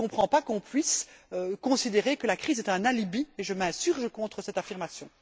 Je ne comprends donc pas qu'on puisse considérer que la crise est un alibi, et je m'insurge contre cette affirmation.